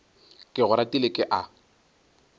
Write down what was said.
ke go ratile ke a